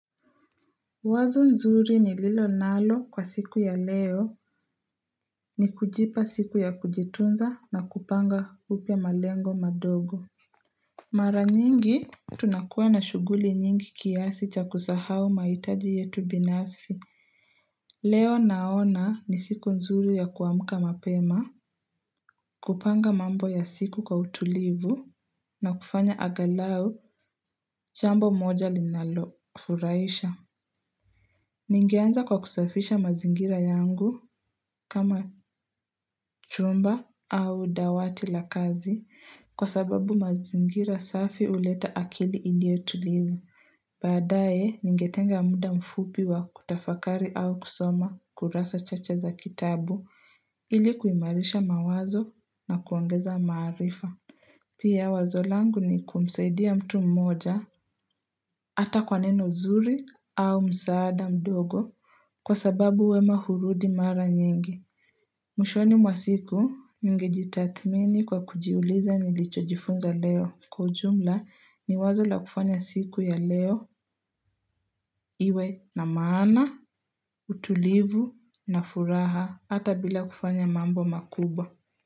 Wazo nzuri nililo nalo kwa siku ya leo ni kujipa siku ya kujitunza na kupanga upya malengo madogo. Mara nyingi tunakuwa na shuguli nyingi kiasi cha kusahau mahitaji yetu binafsi. Leo naona ni siku nzuri ya kuamuka mapema, kupanga mambo ya siku kwa utulivu na kufanya agalau jambo moja linalofuraisha. Ningeanza kwa kusafisha mazingira yangu kama chumba au dawati la kazi kwa sababu mazingira safi huleta akili iliyo tulivu. Baadaye ningetenga muda mfupi wa kutafakari au kusoma kurasa chache za kitabu ili kuimarisha mawazo na kuongeza maarifa. Pia wazolangu ni kumsaidia mtu mmoja hata kwa neno nzuri au msaada mdogo kwa sababu wema hurudi mara nyingi. Mwshoni mwa siku ningejitathmini kwa kujiuliza nilichojifunza leo. Kwa ujumla ni wazo la kufanya siku ya leo iwe na maana, utulivu na furaha hata bila kufanya mambo makubwa.